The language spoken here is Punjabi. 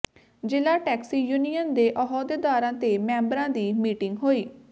ਜ਼ਿਲ੍ਹਾ ਟੈਕਸੀ ਯੂਨੀਅਨ ਦੇ ਅਹੁਦੇਦਾਰਾਂ ਤੇ ਮੈਂਬਰਾਂ ਦੀ ਮੀਟਿੰਗ ਹੋਈ